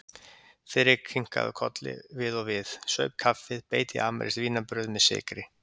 Friðrik kinkaði kolli við og við, saup kaffið, beit í amerískt vínarbrauð með sykri.